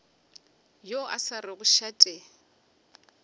yo a sa rego šate